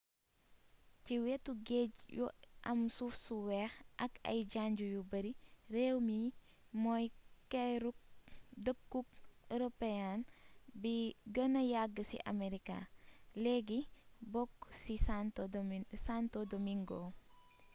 ci wétu géj yu am suuf su wéx ak ay janj yu beeri réwmi mooy keeruk deekuk european bi geenee yagg ci americas légi bokk ci santo domingo